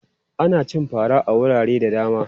Ana cin fara a wurare da dama.